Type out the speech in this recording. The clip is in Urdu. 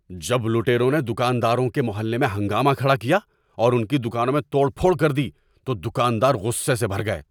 جب لٹیروں نے دکانداروں کے محلے میں ہنگامہ کھڑا کیا اور ان کی دکانوں میں توڑ پھوڑ کر دی تو دکاندار غصے سے بھر گئے۔